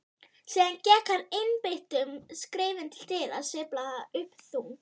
Síðan gekk hann einbeittum skrefum til dyra, sveiflaði upp þung